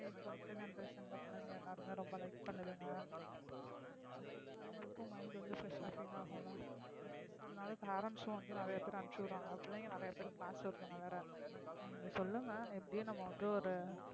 இப்ப இருக்க generation ல பிள்ளைங்க எல்லாருமே ரொம்ப like பண்ணுதுங்க அதுங்களுக்கும் mind வந்து fresh ஆ feel ஆகும்ல அதனால parents உம் வந்து நிறைய பேரு அனுப்பிச்சி விடுறாங்க பிள்ளைங்க நிறைய பேரு class வருதுங்க வேற. நீங்க சொல்லுங்க எப்படியும் நம்ம வந்து ஒரு